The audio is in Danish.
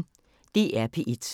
DR P1